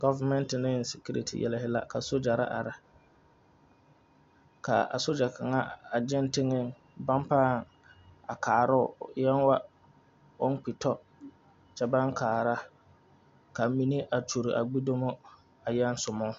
Goviŋmeŋte ne sikiriiti yɛlɛ la ka sogyere are, ka a sogye kaŋa a gyeŋ tengaŋ baŋ ba a karoo, o eŋ wog oŋ kpi to kyɛ baŋ kara, mine gyulee a gbedumo a yaŋ songbo